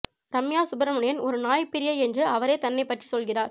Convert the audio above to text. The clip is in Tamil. ரம்யா சுப்ரமணியன் ஒரு நாய் பிரியை என்று அவரே தன்னைப் பற்றி சொல்கிறார்